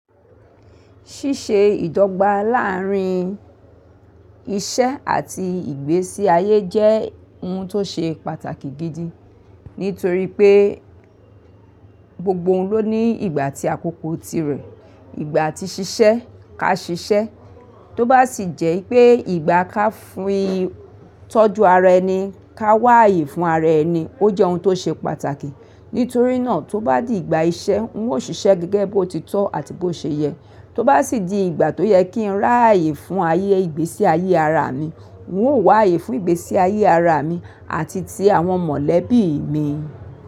Ṣíṣe ìdọ́gba láàárín iṣẹ́ àti ìgbésí ayé jẹ́ ohun tó ṣe pàtàkì gidi nítorí pé gbogbo ohun ló ní ìgbà tí àkókò tirẹ̀, ìgbà tí ṣiṣẹ́ ká ṣiṣẹ́. Tóbá sì jẹ́ pé ìgbà ká fi tọ́jú ara ẹni ká wá ààyè fún ara ẹni, ó jẹ́ ohun tó ṣe pàtàkì. Nítorí náà, tó bá di ìgbà iṣẹ́ n óò ṣiṣẹ́ gẹ́gẹ́ bó ti tọ́ àti bó ṣe yẹ. Tó bá sì di ìgbà tó yẹ kí n rá ààyè fún ayé ìgbésí ayé ara mi, n ó wà ààyè fún ìgbésí ayé ara mi àti ti àwọn mọ̀lẹ́bí mi.